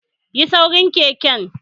Ya saurin keken?